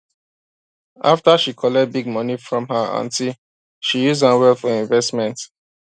after she collect big money from her aunty she use am well for investment